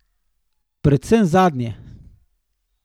Predvsem zadnje.